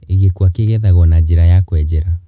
Gĩkwa kĩ gethagwo na njĩra ya kwenjera.